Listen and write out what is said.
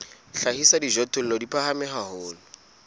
hlahisa dijothollo di phahame haholo